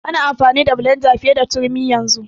Ana amfani da blenda fiye da turmi yanzu.